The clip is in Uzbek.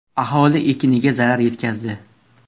Aholi ekiniga zarar yetkazdi.